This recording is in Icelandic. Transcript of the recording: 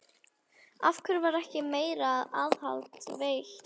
Af hverju var ekki meira aðhald veitt?